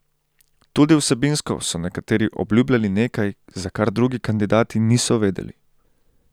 Tudi vsebinsko so nekateri obljubljali nekaj, za kar drugi kandidati niso vedeli.